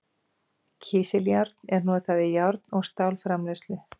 Kísiljárn er notað í járn- og stálframleiðslu.